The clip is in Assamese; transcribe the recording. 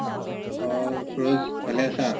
অ ছুৰজ ভালে আছা?